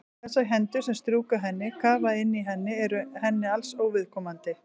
Þessar hendur sem strjúka henni, kafa inn í henni eru henni alls óviðkomandi.